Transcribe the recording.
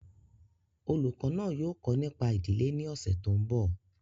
Olùkọ́ náà yóò kọ́ nípa ìdílé ní ọ̀sẹ̀ tó ń bọ̀